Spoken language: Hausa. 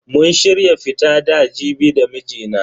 Mun shirya fita da Jibi da mijina.